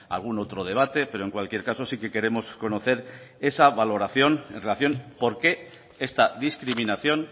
algún otro debate pero en cualquier caso sí que queremos conocer esa valoración en relación por qué esta discriminación